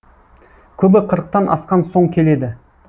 көбі қырықтан асқан соң келеді